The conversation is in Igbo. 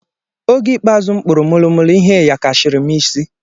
Oge ikpeazụ m kpuru molo molo ihe yakashiri m na isi